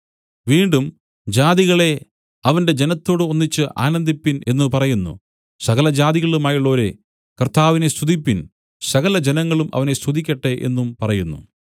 വീണ്ടും ജാതികളേ അവന്റെ ജനത്തോടു ഒന്നിച്ച് ആനന്ദിപ്പിൻ എന്നു പറയുന്നു സകല ജാതികളുമായുള്ളോരേ കർത്താവിനെ സ്തുതിപ്പിൻ സകലജനങ്ങളും അവനെ സ്തുതിക്കട്ടെ എന്നും പറയുന്നു